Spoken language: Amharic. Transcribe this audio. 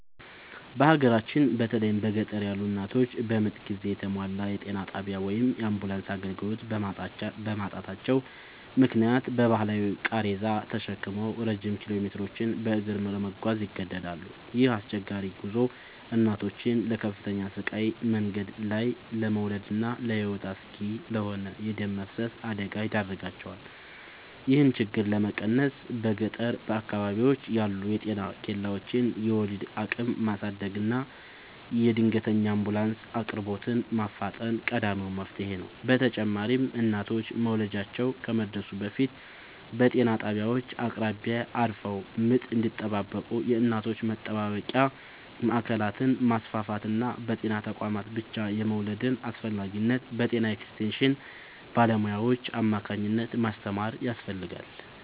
በሀገራችን በተለይም በገጠር ያሉ እናቶች በምጥ ጊዜ የተሟላ የጤና ጣቢያ ወይም የአምቡላንስ አገልግሎት በማጣታቸው ምክንያት በባህላዊ ቃሬዛ ተሸክመው ረጅም ኪሎሜትሮችን በእግር ለመጓዝ ይገደዳሉ። ይህ አስቸጋሪ ጉዞ እናቶችን ለከፍተኛ ስቃይ፣ መንገድ ላይ ለመውለድና ለሕይወት አስጊ ለሆነ የደም መፍሰስ አደጋ ይዳርጋቸዋል። ይህንን ችግር ለመቀነስ በገጠር አካባቢዎች ያሉ የጤና ኬላዎችን የወሊድ አቅም ማሳደግና የድንገተኛ አምቡላንስ አቅርቦትን ማፋጠን ቀዳሚው መፍትሔ ነው። በተጨማሪም እናቶች መውለጃቸው ከመድረሱ በፊት በጤና ጣቢያዎች አቅራቢያ አርፈው ምጥ እንዲጠባበቁ የእናቶች መጠባበቂያ ማዕከላትን ማስፋፋትና በጤና ተቋማት ብቻ የመውለድን አስፈላጊነት በጤና ኤክስቴንሽን ባለሙያዎች አማካኝነት ማስተማር ያስፈልጋል።